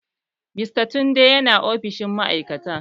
Mr tunde yana ofishin ma'aikata?